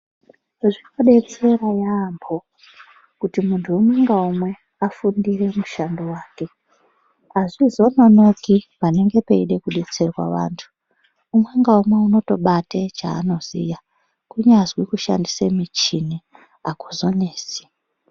Zvinodetsera yaamho kuti munhu umwe ngaumwe afundire mushando wake. Azvizononoki panenge peide kudetserwa antu. Umwe naumwe unotobate chaanoziya, kunyazwi kushandisa muchini akuzonesi.